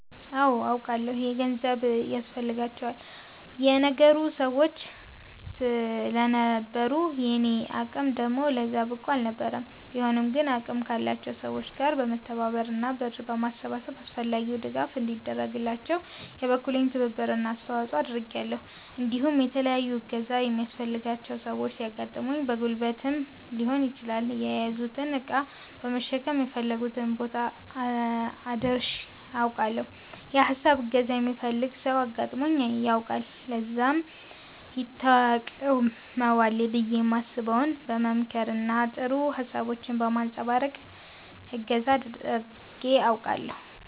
አወ አውቃለሁ። የገንዘብ ድጋፍ ያስፈልጋቸው የነበሩ ሰወች ስለነበሩ የኔ አቅም ደግሞ ለዛ ብቁ አልነበረም ቢሆንም ግን አቅም ካላቸው ሰወች ጋር በመተባበር እና ብር በማሰባሰብ አስፈላጊው ድጋፍ እንዲደረግላቸው የበኩሌን ትብብር እና አስተዋፀኦ አድርጊያለሁ እንዲሁም የተለያዩ እገዛ የሚያስፈልጋቸው ሰወች ሲያጋጥሙኝ በጉልበትም ሊሆን ይችላል የያዙትን እቃ በመሸከም የፈለጉበት ቦታ አድርሸ አውቃለሁ። የ ሀሳብም እገዛ የሚፈልግ ሰው አጋጥሞኝ ያውቃል ለዛም ይተቅመዋል ብየ የማስበውን በ መምከር እና ጥሩ ሀሳቦችን በማንፀባረቅ እገዛ አድርጌ አውቃለሁ።